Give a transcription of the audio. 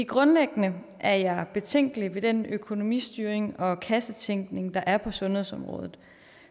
grundlæggende er jeg betænkelig ved den økonomistyring og kassetænkning der er på sundhedsområdet